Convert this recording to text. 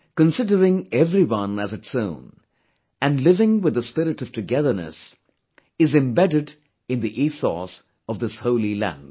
Considering everyone as its own and living with the spirit of togetherness is embedded in the ethos of this holy land